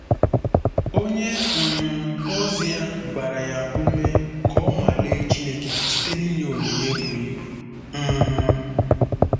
Onye um ozi ya gbara ya ume ka o nwalee Chineke site n’inye onyinye buru ibu. um